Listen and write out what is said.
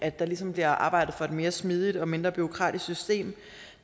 at der ligesom bliver arbejdet for et mere smidigt og mindre bureaukratisk system